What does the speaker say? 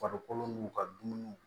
Farikolo n'u ka dumuniw